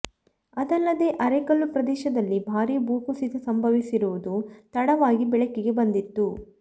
ಅದಲ್ಲದೇ ಅರೆಕಲ್ಲು ಪ್ರದೇಶದಲ್ಲಿ ಭಾರೀ ಭೂ ಕುಸಿತ ಸಂಭವಿಸಿರುವುದು ತಡವಾಗಿ ಬೆಳಕಿಗೆ ಬಂದಿತ್ತು